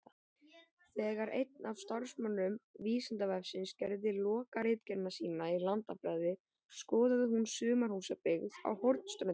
Þegar einn af starfsmönnum Vísindavefsins gerði lokaritgerðina sína í landafræði skoðaði hún sumarhúsabyggð á Hornströndum.